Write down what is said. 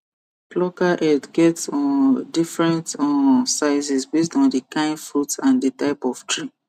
plucker head get um different um sizes based on the kind fruit and the type of tree